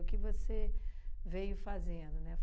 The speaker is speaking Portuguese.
O que você veio fazendo, né?